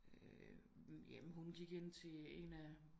Jamen hun gik ind til en af